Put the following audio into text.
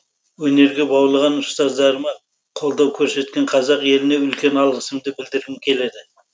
өнерге баулыған ұстаздарыма қолдау көрсеткен қазақ еліне үлкен алғысымды білдіргім келеді